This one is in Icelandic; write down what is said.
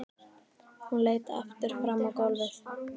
Hún leit aftur fram á gólfið.